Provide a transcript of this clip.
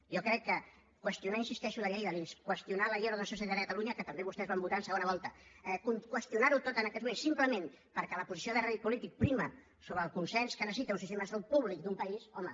jo crec que qüestionar hi insisteixo la llei de l’ics qüestionar la llei d’ordenació sanitària a catalunya que també vostès van votar en segona volta qüestionar ho tot en aquests moments simplement perquè la posició de rèdit polític preval sobre el consens que necessita un sistema de salut públic d’un país home